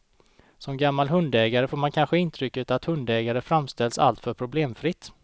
Som gammal hundägare får man kanske intrycket att hundägandet framställs alltför problemfritt.